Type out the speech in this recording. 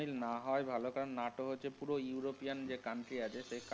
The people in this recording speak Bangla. মিল না হওয়াই ভালো কারণ নাটো হচ্ছে পুরো european যে country আছে। সেই কান.